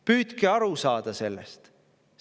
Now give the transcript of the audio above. Püüdke aru saada sellest!